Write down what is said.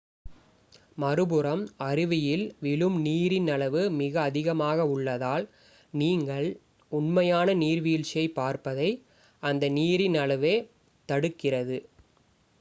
மறுபுறம் அருவியில் விழும் நீரின் அளவு மிக அதிகமாக உள்ளதால் நீங்கள் உண்மையான நீர்வீழ்ச்சியைப் பார்ப்பதை அந்த நீரின் அளவே தடுக்கிறது